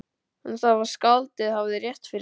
Hann sá að skáldið hafði rétt fyrir sér.